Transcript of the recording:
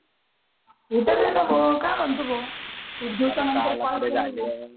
काय म्हणत होतो